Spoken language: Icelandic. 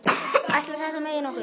Ætli þetta megi nokkuð?